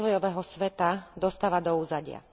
rozvojového sveta dostáva do úzadia.